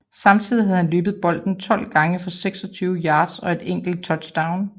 Samtidig havde han løbet bolden 12 gange for 26 yards og et enkelt touchdown